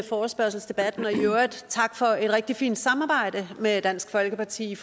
forespørgselsdebatten og i øvrigt tak for et rigtig fint samarbejde med dansk folkeparti